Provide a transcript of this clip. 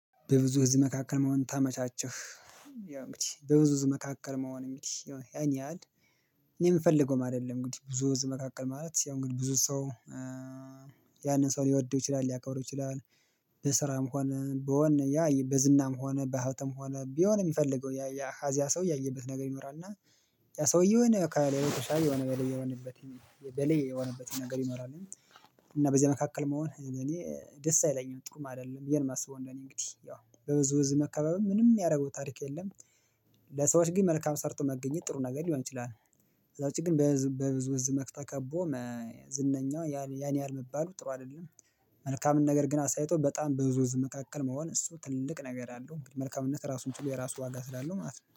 በብዙ ህዝብ መካከል መሆን ታመቻቸህ ይላል እንግዲህ በብዙ ህዝብ መካከል መሆን። ያን ያህል እኔ የምፈልገውም አይደለም እንግዲህ ብዙ ህዝብ መካከል ማለት ያው እንግዲህ ብዙ ሰው ያንን ሰው ሊወደው ይችላል ሊያከብረው ይችላል። በስራም ሆነ በወኔ ያ በዝናም ሆነ በሀብትም ሆነ በሆነ የሚፈልገው ያ ከዚያ ሰው ያየበት ነገር ይኖራል። እና ያ ሰው የሆነ ከሌሎች ተሻይ የሆነ በላይ የሆነበት በላይ የሆነበት ነገር ይኖራል። እና በዚህ መካከል መሆን እኔ ደስ አይለኝም ጥሩም አይደለም ብዬ ነው ማስበው ነው። እኔ እንግዲህ ያው በብዙ ህዝብ መከበብ ምንም የሚያደርገው ታሪክ የለም። ለሰዎች ግን መልካም ሰርቶ መገኘት ጥሩ ነገር ሊሆን ይችላል። ከዛ ውጪ ግን በብዙ ህዝብ ተከቦ ዝነኛ ያን ያህል መባሉ ጥሩ አይደለም። መልካምን ነገር ግን አሳይቶ በጣም በብዙ ህዝብ መካከል መሆን እሱ ትልቅ ነገር አለው መልካምነት ራሱን ችሎ የራሱ ዋጋ ስላለው ማለት ነው